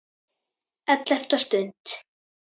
ELLEFTA STUND